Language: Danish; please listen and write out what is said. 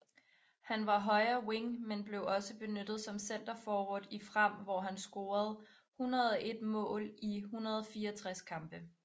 Han var højre wing men blev også benyttet som centerforward i Frem hvor han scorede 101 mål i 164 kampe